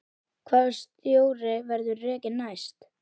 Hvaða stjóri verður rekinn næst?